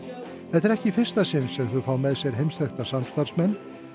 þetta er ekki í fyrsta sinn sem þau fá með sér heimsþekkta samstarfsmenn